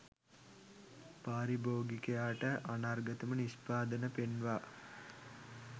පාරිභෝගිකයාට අනර්ඝතම නිෂ්පාදන පෙන්වා,